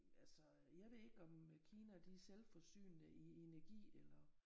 Altså jeg ved ikke om Kina de er selvforsynende i energi eller